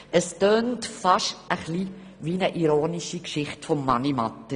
In meinen Ohren klingt dies beinahe wie eine ironische Geschichte von Mani Matter.